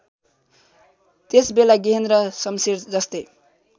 त्यसबेला गेहेन्द्र शमशेरजस्तै